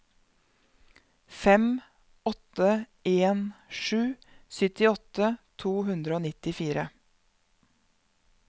fem åtte en sju syttiåtte to hundre og nittifire